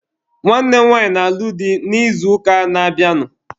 Nwanne m nwaanyị na-alụ di n'izuụka na-abịanụ.